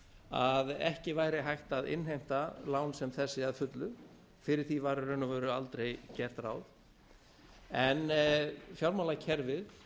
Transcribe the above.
að ekki væri hægt að innheimta lán sem þessi að fullu fyrir því var í raun aldrei gert ráð en fjármálakerfið